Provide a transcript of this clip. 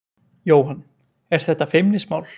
Jóhann: Er þetta feimnismál?